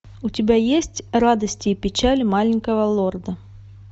у тебя есть радости и печали маленького лорда